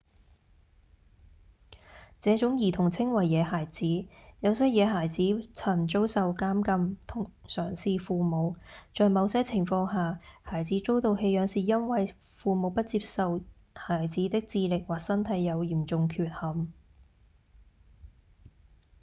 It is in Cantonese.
這種兒童稱為「野孩子」有些野孩子曾遭受監禁同常是父母；在某些情況下孩子遭到棄養是因為父母不接受孩子的智力或身體有嚴重缺陷